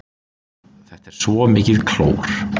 Þetta er svo mikið klór.